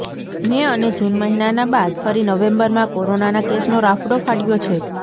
મે અને જૂન મહિનાના બાદ ફરી નવેમ્બરમાં કોરોનાના કેસનો રાફડો ફાટયો છે